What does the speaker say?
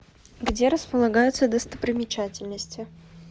где располагаются достопримечательности